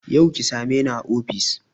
Yau ki same ni a ofis